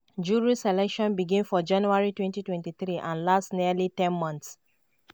jury selection begin for january 2023 and last nearly ten months.